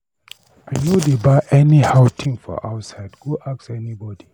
I no dey buy anyhow thing for outside, go ask anybody.